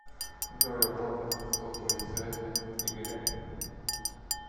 джой оплата сотовой связи игоря